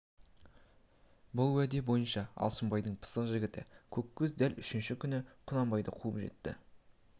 бұл уәде бойынша алшынбайдың пысық жігіті көккөз дәл үшінші күні құнанбайды қуып жетті